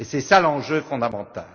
Et c'est là l'enjeu fondamental.